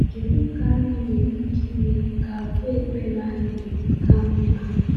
Kedu ka anyị nwere ike ime ka àgwà ekpere anyị ka mma?